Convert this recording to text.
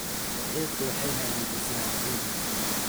Bacrintu waxay hagaajisaa ciidda.